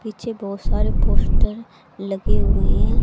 पीछे बहोत सारे पोस्टर लगे हुए हैं।